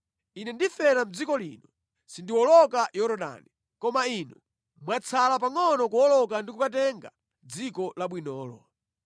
Ine ndifera mʼdziko lino, sindiwoloka Yorodani. Koma inu mwatsala pangʼono kuwoloka ndi kukatenga dziko labwinolo.